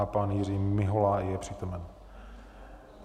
A pan Jiří Mihola je přítomen.